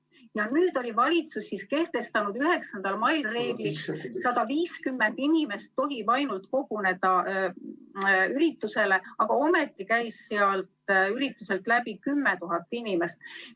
Valitsus oli 9. mail kehtestanud reegli, et ainult 150 inimest tohib üritusele koguneda, aga ometi käis sealt ürituselt läbi 10 000 inimest.